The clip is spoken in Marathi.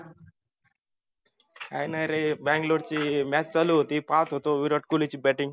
काय नाही रे बैगलोर ची match चालू होती पाहत होतो विराट कोल्ही ची batting